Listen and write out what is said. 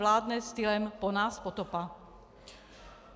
Vládne stylem po nás potopa.